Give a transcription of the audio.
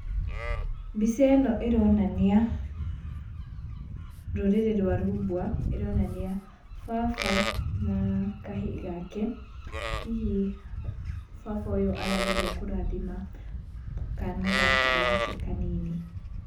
Mbica ĩno ĩronania rũrĩrĩ rwa rumbwa, ĩronania baba na kahĩ gake, hihi baba ũyũ arageria kũrathima kana gake kanini.